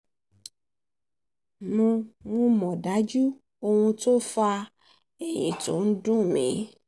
mo um mọ̀ um dájú ohun tó fa ẹ̀yìn tó ń um dùn mí